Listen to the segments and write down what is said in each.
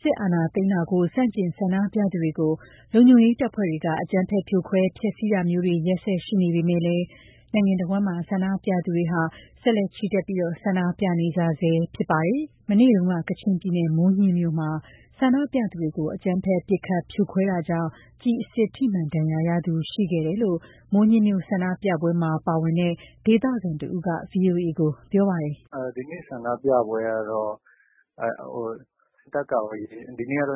စစ်အာဏာသိမ်းမှုကို ဆန့်ကျင်ပြကြသူတွေကို လုံခြုံရေးတပ်ဖွဲ့တွေက အကြမ်းဖက် ဖြိုခွဲ ဖမ်းဆီးတာမျိုးတွေ ရက်ဆက်ရှိနေပေမယ့် နိုင်ငံတစ်ဝှမ်း ဆန္ဒပြသူတွေကလည်း ဆက်လက်ချီတက် ဆန္ဒပြနေကြဆဲဖြစ်ပါတယ်။ ကချင်ပြည်နယ် မိုးညှင်းမြို့မှာ ဒီကနေ့ ဆန္ဒပြသူတွေကို အကြမ်းဖက် ပစ်ခတ်ဖြိုခွဲတာကြောင့် ကျည်အစစ်ထိမှန်ဒဏ်ရာရသူရှိခဲ့တယ်လို့ မိုးညှင်းမြို့ ဆန္ဒပြပွဲမှာ ပါဝင်တဲ့ ဒေသခံတစ်ဦးက VOA ကို ပြောပါတယ်။ “ဒီနေ့ ဆန္ဒပြပွဲကတော့ စစ်တပ်က ဒီနေ့ ပ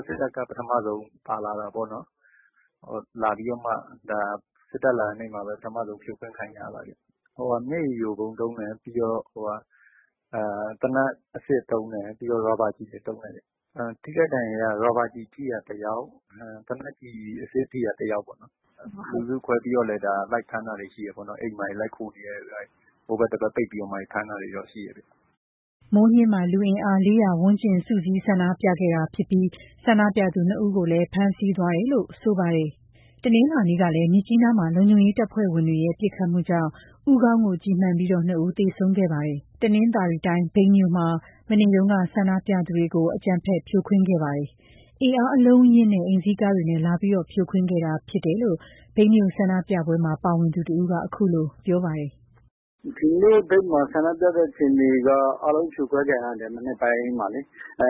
ထမဆုံးပါလာတာပေါ့နှော်။ စစ်တပ်ပါလာတဲ့ နေ့မှာပဲ ပထမဆုံး ဖြိုခွင်းခံရတာပါ။ မျက်ရည်ယိုဗုံးသုံးတယ်၊ ပြီးတော့ သေနတ်အစစ်သုံးတယ်၊ ပြီးတော့ ရာဘာကျည်တွေ သုံးတယ်။ ထိခိုက်ဒဏ်ရာရတာက ရာဘာကျည်ထိတာတစ်ယောက် သေနတ် ကျည် အစစ်ထိတာတစ်ယောက်ပေါ့နော်။ လူစုခွဲပြီးသွားတော့လည်း လိုက်ဖမ်းတာတွေရှိတယ်ပေါ့နော်။ အိမ်မှာ ဟိုဖက်ဒီဖက် ပိတ်ပြီးတော့မှာ ဖမ်းတာတွေရှိတယ်။” မိုးညှင်းမှာ လူအင်အား ၄၀၀ ဝန်းကျင် စုစည်း ဆန္ဒပြခဲ့ကြတာဖြစ်ပြီးတော့ ဆန္ဒပြသူ နှစ်ဦးကိုလည်း ဖမ်းဆီးသွားတယ်လို့ ဆိုပါတယ်။ မနေ့က မြစ်ကြီးနားမှာ လုံခြုံရေးတပ်ဖွဲ့ဝင်တွေရဲ့ ပစ်ခတ်မှုကြောင့် ဦးခေါင်းကို ကျည်မှန်ပြီး နှစ်ဦးသေဆုံးခဲ့ပါတယ်။ တနသ်ာရီတိုင်း မြိတ်မြို့မှာလည်း ဒီကနေ့ ဆန္ဒပြသူတွေကို အကြမ်းဖက် ဖြိုခွင်းခဲ့ပါတယ်။ အင်အားအလုံးအရင်းနဲ့ အိမ်စီးကားတွေနဲ့လာပြီး ဖြိုခွင်းခဲ့တာဖြစ်တယ်လို့ မြိတ်မြို့ ဆန္ဒပြပွဲမှာပါဝင်သူတစ်ဦးက ခုလို ပြောပါတယ်။ “ဒီနေ့ မြိတ်မှာ ဆန္ဒပြတဲ့ အခြေအအနေက အားလုံး ဖြိုခွဲခံရတယ်။ မနက်ပိုင်းမှာပဲ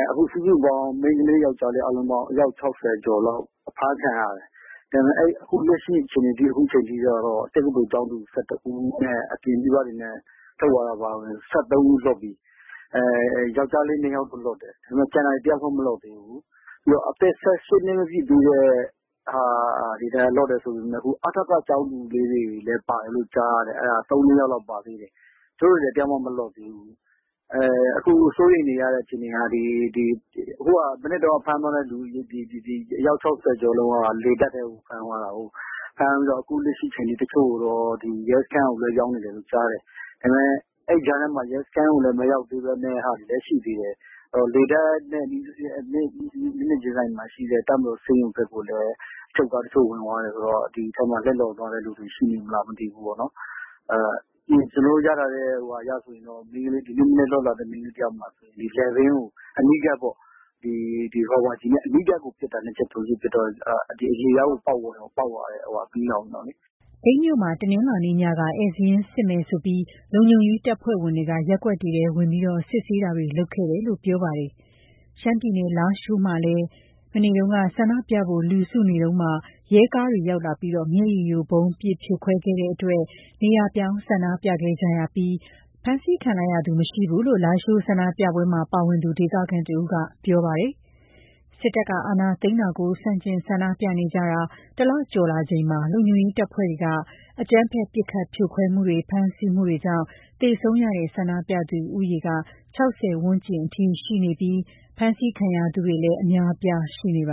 ။ အခု အားလုံးစုစုပေါင်း မိန်းကလေး ယောက်ကျားလေး အယောက် ၆၀ ကျော်လောက် အဖမ်းခံရတယ်။ အခုလက်ရှိ အချိန်ထိကတော့ တက္ကသိုလ်ကျောင်းသူ ၁၁ ဦးနှင့်အပြင်က လိုက်တဲ့သူ အပါအဝင် ၁၃ ဦး လွတ်ပြီ။ ယောက်ျားလေး နှစ်ယောက်တော့ လွတ်ပေးတယ်။ ကျန်တာတွေ တစ်ယောက်မှ မလွတ်ဘူး။ ပြီးတော့ အသက် ၁၈ နှစ် မပြည့်သေးတဲ့သူတွေ ပြန်လွတ်တယ်ဆိုပေမယ့် ခု ဖမ်းထားတဲ့ထဲမှာ အထက ကျောင်းသူလေးတွေလည်း ပါတယ်လို့ကြားတယ်။ ၃၊ ၄ ယောက်လောက်ပါတယ်ကြားတယ်။ သူတို့တွေလည်း တစ်ယောက်မှ မလွတ်ဘူး။ အခုစိုးရိမ်နေရတဲ့ အခြေအနေက ဒီမနက်က ဖမ်းသွားတဲ့သူ အယောက် ၆၀ ကျော်လောက်က လေတပ်ထဲကို ဖမ်းသွားတာကိုး။ အခုလက်ရှိ တစ်ချို့ကိုတော့ ရဲစခန်းကို လွဲပြောင်းတယ်လို့ကြားတယ်။ ဒါပေမယ့် အဲ့ကြားထဲမှာ ရဲစခန်းကို မရောက်သေးတာတွေလည်း ရှိသေးတယ်။ လေတပ်နဲ့ မျက်နှာချင်းဆိုင်မှာရှိတဲ့ တပ်မတော်ဆေးရုံဖက်ကိုလည်း စစ်ကားတစ်ချို့ဝင်သွားတယ်ဆိုတော့ ဒီထဲမှာ လက်လွန်သွားတဲ့လူတစ်ချို့ ရှိမလားမသိဘူးပေါ့နှော်။ ကျွန်တော်တို့ရထားတဲ့ သတင်းအရဆိုရင် ဒီမနက် လွတ်လာတဲ့ အမျိုးသမီးတစ်ယောက်ဆိုရင် လည်ပင်းကို အနီးကပ်ပေါ့၊ ရာဘာကျည်နဲ့ အနီးကပ်ကို နှစ်ချက် သုံးချက်ပစ်တော့ အရေပြားကို ပေါက်သွားတယ်။” မြိတ်မြို့မှာ မနေ့ညက ဧည့်စာရင်းစစ်မယ်ဆိုပြီး လုံခြုံရေးတပ်ဖွဲ့ဝင်တွေက ရပ်ကွက်တွေထဲဝင်ပြီး စစ်ဆေးတာတွေလုပ်ခဲ့တယ်လို့ ပြောပါတယ်။ ရှမ်းပြည်နယ် လားရှိုးမှာလည်း ဒီမနက် ဆန္ဒပြဖို့ လူစုနေတုန်းမှာ ရဲကားတွေရောက်လာပြီး မျက်ရည်ယိုဗုံးပစ်ဖြိုခွဲတဲ့အတွက် နေရာပြောင်း ဆန္ဒပြခဲ့ကြရပြီးတော့ လုံခြုံရေးတပ်ဖွဲ့တွေဆီမှာ ဖမ်းဆီးခံလိုက်ရသူ မရှိဘူးလို့ လားရှိုးဆန္ဒပြပွဲမှာ ပါဝင်တဲ့ ဒေသခံ တစ်ဦးက ပြောပါတယ်။ စစ်တပ်က အာဏာသိမ်းတာကို ဆန့်ကျင်ဆန္ဒပြကြတာ တစ်လကျော်လာချိန်မှာ လုံခြုံရေးတပ်ဖွဲ့တွေက အကြမ်းဖက် ပစ်ခတ်ဖြိုခွဲမှုတွေ ဖမ်းဆီးမှုတွေကြောင့် သေဆုံးရတဲ့ ဆန္ဒပြသူဦးရေက ၆၀ ဝန်းကျင်အထိ ရှိလာနေပြီး ဖမ်းဆီးခံရသူတွေလည်း အများအပြားရှိနေပါ